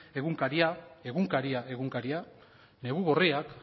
egunkaria egunkaria egunkaria negu gorriak